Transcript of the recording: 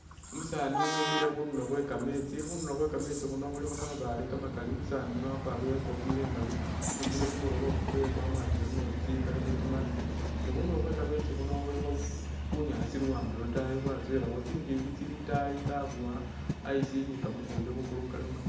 Umusani wemile khundulo khwekametsi khundulo khwekametsi khuno khulikho kamabaale kamakali, umusani yuno wakwarile ingofila imali, awambile kumulobo wamwatile mumetsi kali khutima ne khundulo khwekametsi khuno khulikho bunyasi luwande lwotayi tsinjinji tsili itayi tsabuwa ice ni kamafumbi khukulo kalikho